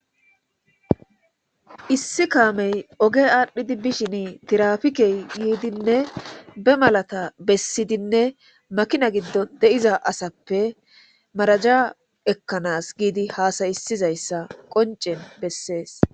issi kaamey oge aadhdhidi bishin tirafikey yiidinne be malata bessidinne makina giddon de'iza asappe maraja ekkanas giidi haasayisizayssa qoncen bessees